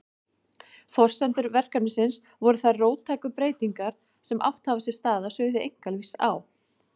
Forsendur verkefnisins voru þær róttæku breytingar sem átt hafa sér stað á sviði einkalífs á